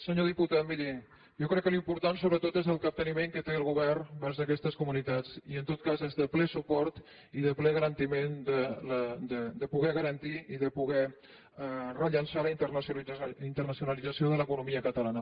senyor diputat miri jo crec que l’important sobretot és el capteniment que té el govern vers aquestes comunitats i en tot cas és de ple suport i de ple garantiment de poder garantir i de poder rellançar la internacionalització de l’economia catalana